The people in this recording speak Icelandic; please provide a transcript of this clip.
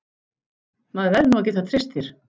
Maður verður nú að geta treyst þér!